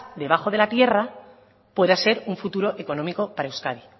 debajo de la tierra pueda ser un futuro económico para euskadi